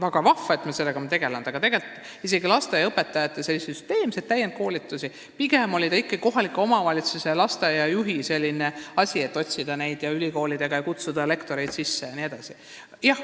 Väga vahva, et me nendega tegelenud oleme, aga lasteaiaõpetajate süsteemsed täienduskoolitused on pigem kohaliku omavalitsuse ja lasteaiajuhi asi olnud: otsida lektoreid ülikoolidest jne.